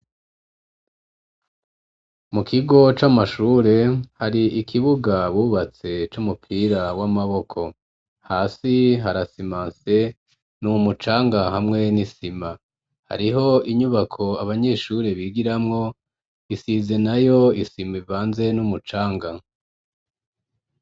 Mu kigo c'amashure hari ikibuga bubatse c'umupira w'amaboko hasi harasimase n'umucanga hamwe n'isima hariho inyubako abanyeshure bigiramwo isize nayo isima ivanze n'umucanga.